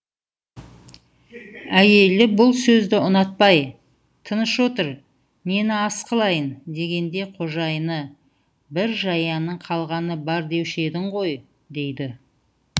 әйелі бұл сөзді ұнатпай тыныш отыр нені ас қылайын дегенде қожайыны бір жаяның қалғаны бар деуші едің ғой дейді